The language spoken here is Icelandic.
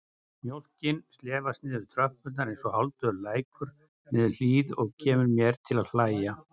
Mjólkin slefast niður tröppurnar einsog hálfdauður lækur niður hlíð og kemur mér til að hlæja.